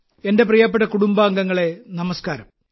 എന്റെ പ്രിയപ്പെട്ട കുടുംബാംഗങ്ങളെ നമസ്ക്കാരം